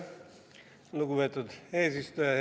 Lugupeetud eesistuja!